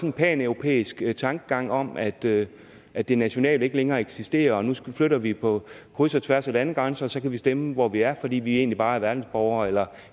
en paneuropæisk tankegang om at det at det nationale ikke længere eksisterer og nu flytter vi på kryds og tværs af landegrænser og så kan vi stemme hvor vi er fordi vi egentlig bare er verdensborgere eller